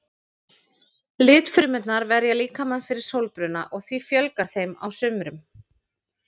Litfrumurnar verja líkamann fyrir sólbruna og því fjölgar þeim á sumrum.